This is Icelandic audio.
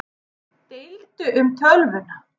Deildu um tölvuna